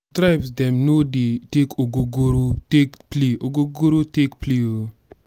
some tribe dem no dey take ogogoro take play ogogoro take play o.